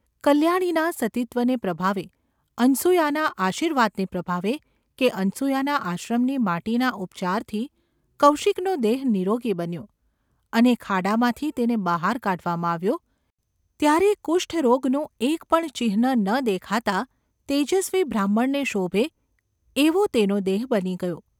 કલ્યાણીના સતીત્વને પ્રભાવે, અનસૂયાના આશીર્વાદને પ્રભાવે કે અનસૂયાના આશ્રમની માટીના ઉપચારથી કૌશિકનો દેહ નીરોગી બન્યો અને ખાડામાંથી તેને બહાર કાઢવામાં આવ્યો ત્યારે કુષ્ઠરોગનું એક પણ ચિહ્ન ન દેખાતાં તેજસ્વી બ્રાહ્મણને શોભે એવો તેનો દેહ બની ગયો.